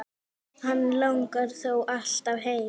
Hann langar þó alltaf heim.